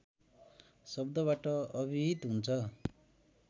शब्दबाट अभिहित हुन्छ